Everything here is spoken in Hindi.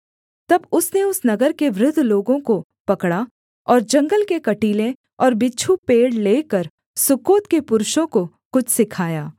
तब उसने उस नगर के वृद्ध लोगों को पकड़ा और जंगल के कटीले और बिच्छू पेड़ लेकर सुक्कोत के पुरुषों को कुछ सिखाया